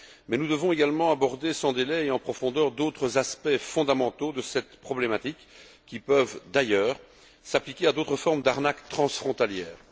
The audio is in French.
Mais nous devons également aborder sans délai et en profondeur d'autres aspects fondamentaux de cette problématique, qui peuvent d'ailleurs s'appliquer à d'autres formes d'arnaques transfrontalières.